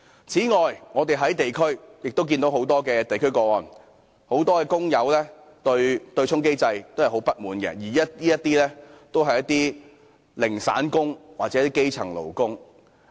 此外，我們亦從很多地區個案得悉，不少工友對於對沖機制非常不滿，而他們大多數是"零散工"或基層勞工。